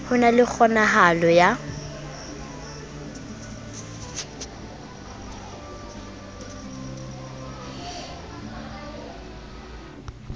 ho na le kgonahalo ya